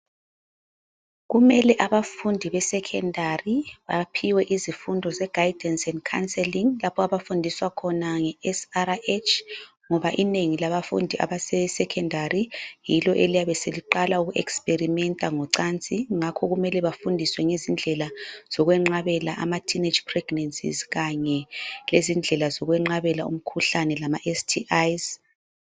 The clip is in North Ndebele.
Kumele abafundi be secondary baphiwe izifundo ze guidance and counseling. Lapho abafundiswa khona nge SRH, ngoba inengi labafundi abase secondary yilo eliyabe seliqala uku experimenta ngocansi ngakho kumele bafundiswe ngezindlela zokwenqabela ama teenage pregnancies Kanye lezindlela zokwenqabela umkhuhlane kanye lama STIs.